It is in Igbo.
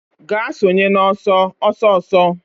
Gaa sonye n'ọsọ ọsọ ọsọ